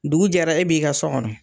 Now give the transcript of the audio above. Dugu jɛra e b'i ka so kɔnɔ.